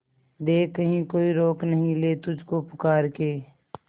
देख कहीं कोई रोक नहीं ले तुझको पुकार के